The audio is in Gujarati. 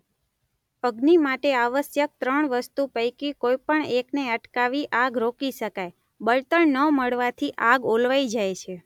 અગ્નિ માટે આવશ્યક ત્રણ વસ્તુ પૈકી કોઈ પણ એકને અટકાવી આગ રોકી શકાય:બળતણ ન મળવાથી આગ ઓલવાઈ જાય છે.